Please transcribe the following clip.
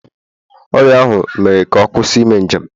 Ọrịa ahụ mere ka ọ kwụsị ime njem